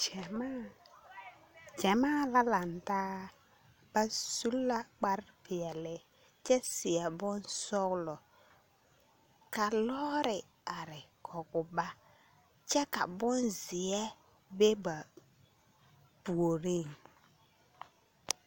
Gyɛmaa, gyamaa la lantaa. Ba su la kparpeɛle kyɛ seɛ bonsɔgelɔ ka lɔɔre are kɔge ba. Kyɛ ka bonzeɛ be ba puoriŋ.